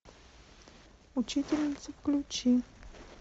учительница включи